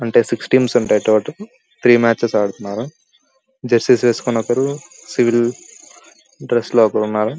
అంటే six teams ఉంటాయి total three matches ఆడుతున్నారు జెరూసెయ్స్ వేసుకొని ఒకరు సివిల్ డ్రెస్ లో ఒకరు ఉన్నారు --